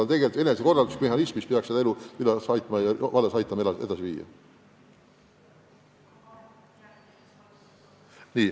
Aga küla on enesekorralduslik mehhanism, mis peaks elu vallas edasi viima.